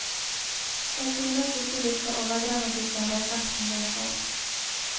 Jeg synes ikke vi skal overdramatisere effekten det får.